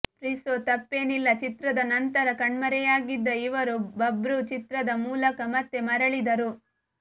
ಪ್ರೀತ್ಸು ತಪ್ಪೇನಿಲ್ಲ ಚಿತ್ರದ ನಂತರ ಕಣ್ಮರೆಯಾಗಿದ್ದ ಇವರು ಬಬ್ರೂ ಚಿತ್ರದ ಮೂಲಕ ಮತ್ತೆ ಮರಳಿದರು